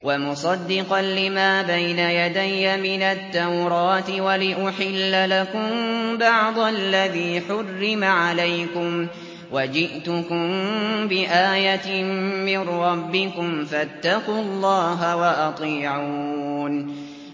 وَمُصَدِّقًا لِّمَا بَيْنَ يَدَيَّ مِنَ التَّوْرَاةِ وَلِأُحِلَّ لَكُم بَعْضَ الَّذِي حُرِّمَ عَلَيْكُمْ ۚ وَجِئْتُكُم بِآيَةٍ مِّن رَّبِّكُمْ فَاتَّقُوا اللَّهَ وَأَطِيعُونِ